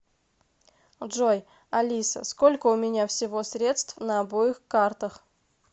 джой алиса сколько у меня всего средств на обоих картах